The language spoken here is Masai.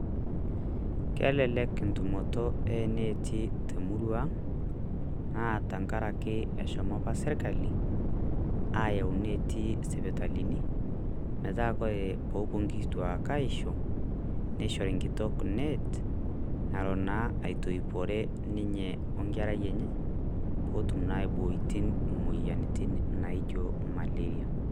kelelek entumoto oneti temurua ang' na tenkaraki eshomo apa sirkali ayau neti sipitalini metaa kore pepuo nkituak aisho neishori nkitok net nalo naa aitoipore ninye onkerai enye petuum aiboiti moyiaritin naijio malaria